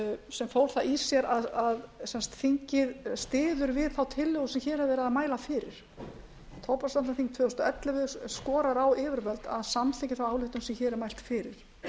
sem fól það í sér að þingið styður við þá tillögu sem hér er verið að mæla fyrir tóbaksvarnaþing tvö þúsund og ellefu skorar á yfirvöld að samþykkja þá ályktun á hér er mælt fyrir